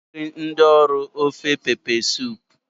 Aga m esiri ndi ọrụ ofe mmiri ose